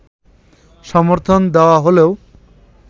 সমর্থন দেওয়া হলেও